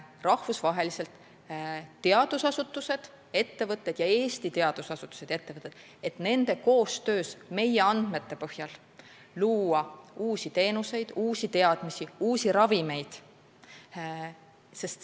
Rahvusvaheliste teadusasutuste ja ettevõtete ning Eesti teadusasutuste ja ettevõtete koostöös ning meie andmete põhjal tuleks luua uusi teenuseid, uusi teadmisi, uusi ravimeid.